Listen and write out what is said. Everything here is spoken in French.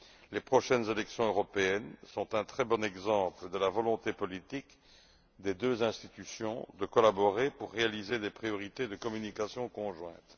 Les prochaines élections européennes sont un très bon exemple de la volonté politique des deux institutions de collaborer afin d'établir des priorités de communication conjointes.